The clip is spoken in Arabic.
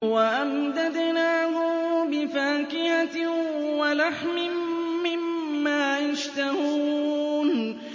وَأَمْدَدْنَاهُم بِفَاكِهَةٍ وَلَحْمٍ مِّمَّا يَشْتَهُونَ